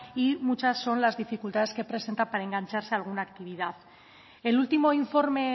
y muchas son las dificultades que presentan para engancharse a alguna actividad el último informe